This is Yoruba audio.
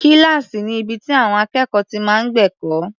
Kíláàsì ni ibi tí àwọn akẹ́kọ̀ọ́ ti máa ń gbẹ̀kọ́.